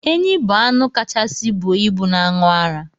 Enyi bu anụ kachasi buọ ibụ na anụ ara.